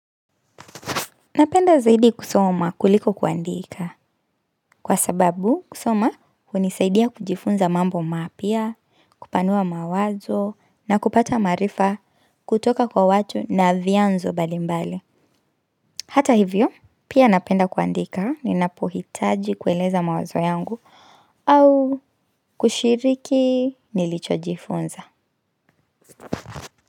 Napenda zaidi kusoma kuliko kuandika kwa sababu kusoma hunisaidia kujifunza mambo mapia, kupanua mawazo na kupata marifa kutoka kwa watu na vianzo mbalimbali. Hata hivyo, pia napenda kuandika ni napohitaji kueleza mawazo yangu au kushiriki nilichojifunza.